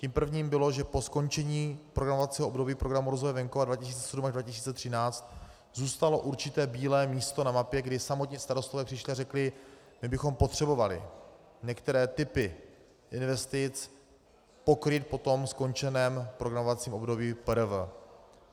Tím prvním bylo, že po skončení programovacího období Programu rozvoje venkova 2007 až 2013 zůstalo určité bílé místo na mapě, kdy samotní starostové přišli a řekli: My bychom potřebovali některé typy investic pokrýt po tom skončeném programovacím období PRV.